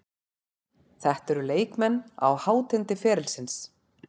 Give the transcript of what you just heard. Þetta eru leikmenn á hátindi ferilsins.